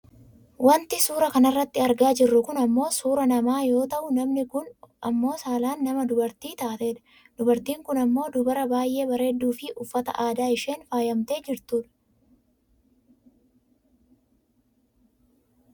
Wanti suuraa kanarratti argaa jirru kun ammoo suuraa namaa yoo ta'u namni kun ammoo saalaan nama dubartii taatedha. Dubartiin kun ammoo dubara baayyee bareedduufi uffata aadaa isheen faayamtee jirtu dha.